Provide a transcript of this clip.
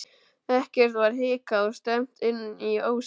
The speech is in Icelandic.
Ekkert var hikað og stefnt inn í ósinn.